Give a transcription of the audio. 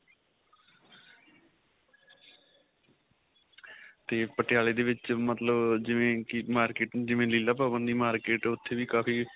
ਤੇ ਪਟਿਆਲਾ ਦੇ ਵਿੱਚ ਮਤਲਬ ਜਿਵੇਂ ਕਿ market ਜਿਵੇਂ ਲੀਲਾਂ ਭਵਨ ਦੀ market ਉਥੇ ਵੀ ਕਾਫ਼ੀ